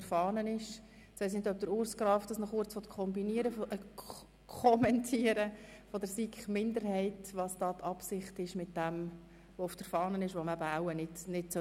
Jetzt weiss ich nicht, ob Urs Graf namens der SiK-Minderheit noch kommentieren möchte, was mit dem Antrag beabsichtigt wird, der auf der Fahne steht, und den man nicht mehr annehmen sollte.